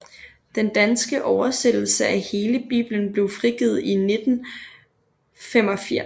Den danske oversættelse af hele Bibelen blev frigivet i 1985